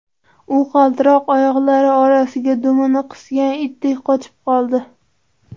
U qaltiroq oyoqlari orasiga dumini qisgan itdek qochib qoldi.